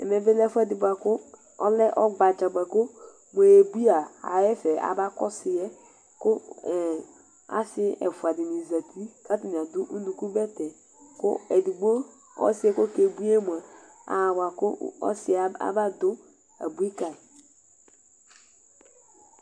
ɛvɛ bi lẽ ɛfuɛ dï bua kʊ ɔlɛ ɔgbadza bua go muyebuia aḥa ɛfɛ aba kɔsuyɛ kũ ẽ assï ɛfua dini zati atani adʊ ũnukũ bɛtɛ kʊ edigbo k'ɔssie k'okebui yɛ mua abua kʊ aba dũ abui kayi